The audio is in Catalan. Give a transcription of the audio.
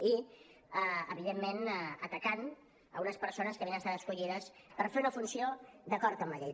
i evidentment atacant unes persones que havien estat escollides per fer una funció d’acord amb la llei